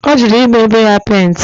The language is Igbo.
O juru i gba be ya penti